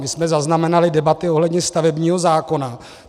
My jsme zaznamenali debaty ohledně stavebního zákona.